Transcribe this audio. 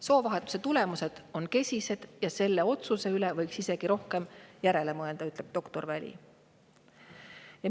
"Soovahetuse tulemused on kesised ja selle otsuse üle võiks isegi rohkem järele mõelda," ütleb doktor Väli.